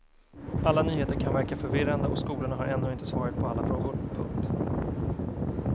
Alla nyheter kan verka förvirrande och skolorna har ännu inte svaret på alla frågor. punkt